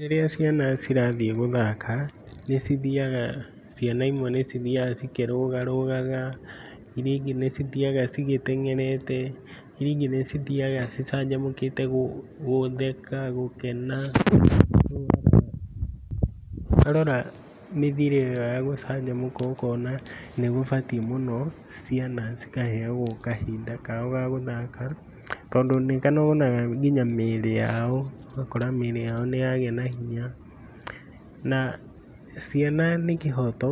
Rĩrĩa ciana cirathiĩ gũthaka nĩ cithiaga, ciana imwe ĩgathiĩ ikĩrũgarũgarũgaga ĩrĩa ĩngĩ nĩ cithiaga cigĩteng'erete irĩa ĩngĩ nĩ cithiaga cicanjamũkĩte gũtheka gũkena wa rora mĩthire ĩyo ya gũcanjamũka ũkona nĩgũbatiĩ mũno ciana cika heagwo kahinda kao ga gũthaka tondũ nĩ wonaga nginya mĩrĩ yao, ũgakora mĩrĩ yao nĩ yagĩa na hinya na ciana nĩ kĩhoto